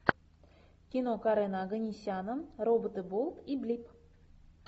кино карена оганесяна роботы болт и блип